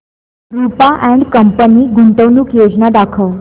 Rupa and company गुंतवणूक योजना दाखव